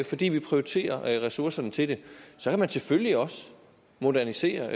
fordi vi prioriterer ressourcerne til det så kan man selvfølgelig også modernisere